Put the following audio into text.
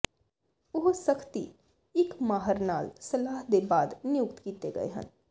ਉਹ ਸਖਤੀ ਇੱਕ ਮਾਹਰ ਨਾਲ ਸਲਾਹ ਦੇ ਬਾਅਦ ਨਿਯੁਕਤ ਕੀਤੇ ਗਏ ਹਨ